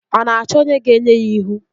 Ọ na-achọ onye ga-enye ya ihu?